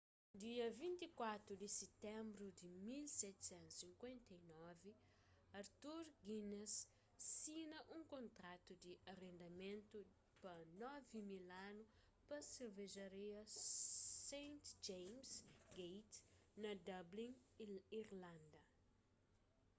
dia 24 di sitenbru di 1759 arthur guinness sina un kontratu di arendamentu pa 9.000 anu pa servejaria st james' gate na dublin irlanda